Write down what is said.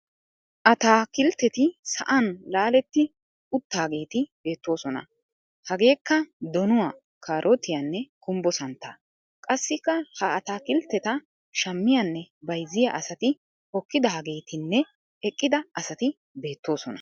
Ataakiltteti sa'an laaletti uttaageeti beettoosona. Hageekka:- donuwa, kaarootiyanne gumbbo santtaa. Qassikka ha ataakiltteta shammiyanne bayizziya asati hokkidaageetinne eqqida asati beettoosona.